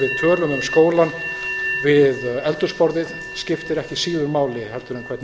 og hvernig við tölum um skólann við eldhúsborðið skiptir ekki síður máli en hvernig